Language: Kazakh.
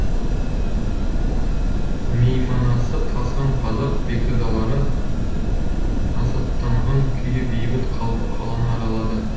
мейманасы тасыған қазақ бекзадалары насаттанған күйі бейбіт қалпы қаланы аралады